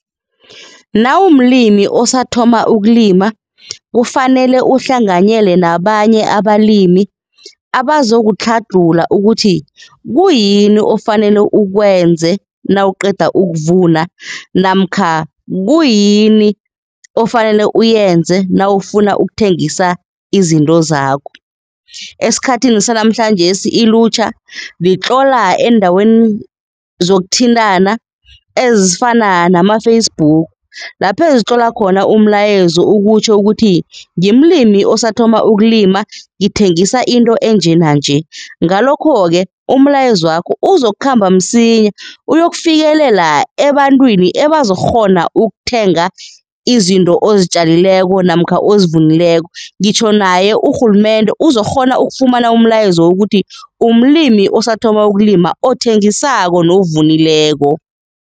Nawumlimi osathoma ukulima kufanele uhlanganyela nabanye abalimi abazokutlhadlhula ukuthi kuyini ofanele ukwenze nawuqeda ukuvuna namkha kuyini ofanele uyenze nawufuna ukuthengisa izinto zakho. Esikhathini sanamhlanjesi ilutjha litlola eendaweni zokuthintana ezifana nama-Facebook lapho ezitlola khona umlayezo ukutjho ukuthi, ngimlimi osathoma ukulima ngithengisa into enje nanje. Ngalokho-ke umlayezwakho uzokukhamba msinya uyokufikelela ebantwini ebazokukghona ukuthenga izinto ozitjameleko namkha ozivunileko, ngitjho naye urhulumende uzokukghona ukufumana umlayezo ukuthi, umlimi osathoma ukulima, othengisako novunileko.